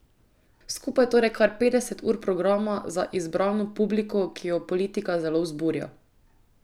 Skupaj torej kar petdeset ur programa za izbrano publiko, ki jo politika zelo vzburja.